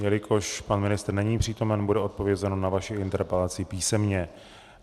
Jelikož pan ministr není přítomen, bude odpovězeno na vaši interpelaci písemně.